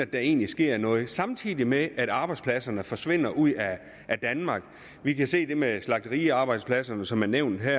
der egentlig sker noget samtidig med at arbejdspladserne forsvinder ud af danmark vi kan se det med slagteriarbejdspladserne som er nævnt her